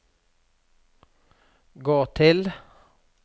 gå til